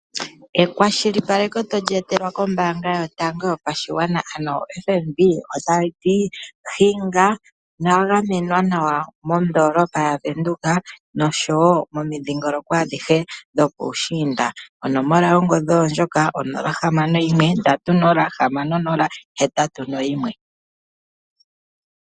Ekwashilipaleko toli etelwa kombaanga yotango yopashigwana ano FNB, otayi ti hinga nowa gamenwa nawa mondoolopa yaVenduka, nosho wo momudhingoloko adhihe dhopuushiinda. Onomola oyo ndjoka 061 306081.